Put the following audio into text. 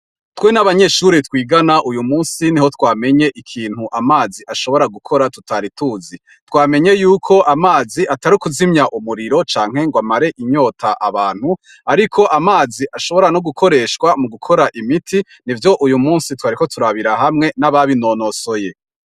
Twenabanyeshure twigana uyu musi niho twamenye ikintu amazi ashobora gukora tutari tuzi twamenye yuko amazi atari ukuzimya umuriro canke ngo amare inyota abantu ariko amazi ashobora no gukoreswa mugukora imiti nivyo uyu musi twariko turabira hamwe nababi nonosoye